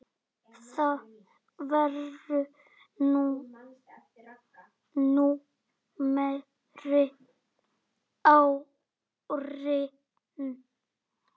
Það voru nú meiri árin.